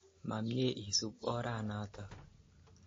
Ma mye isup ora natak.